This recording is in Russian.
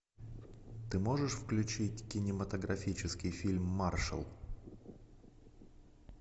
ты можешь включить кинематографический фильм маршал